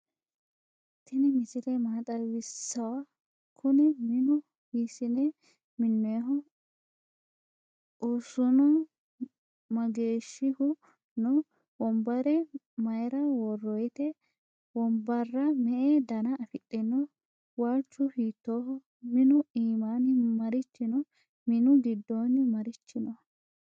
tini misile maa xwisawo? kuni minu hisine minoyiho ?ussunu mageshihu no?wonbara mayira woroyite? wnbara me"e dana afidhino? walchu hitoho? minu imani marichi no?minu gidoni marichi no